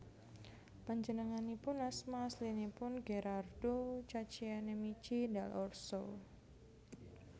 Panjenenganipun asma aslinipun Gherardo Caccianemici dal Orso